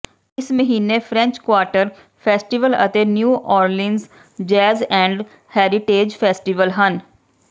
ਇਸ ਮਹੀਨੇ French Quarter festival ਅਤੇ New Orleans jazz and heritage festival ਹਨ